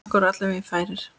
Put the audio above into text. Okkur voru allir vegir færir.